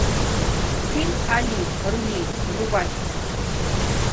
фильм али рули врубай